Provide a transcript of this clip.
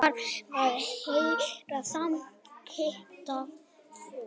Það var þeirra samskiptaform.